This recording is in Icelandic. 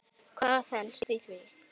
Hvað felst í því?